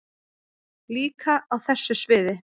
Líka á þessu sviði.